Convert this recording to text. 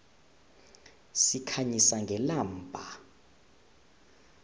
sikhanyisa ngelamba